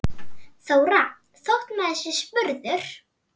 Þóra: Þótt maður sé spurður?